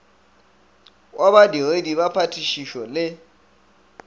wa badiredi ba phatišišo le